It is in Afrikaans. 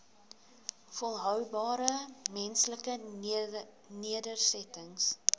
volhoubare menslike nedersettings